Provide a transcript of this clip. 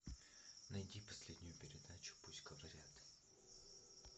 найти последнюю передачу пусть говорят